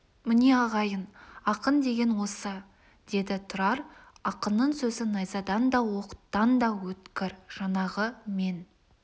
міне ағайын ақын деген осы деді тұрар ақынның сөзі найзадан да оқтан да өткір жаңағы мен